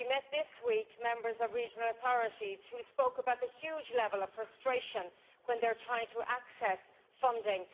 This week, we met members of regional authorities who spoke about the huge level of frustration when they are trying to access funding.